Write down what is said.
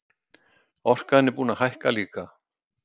Orkan búin að hækka líka